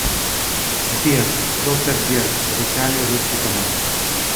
сбер доктор берг официальный русский канал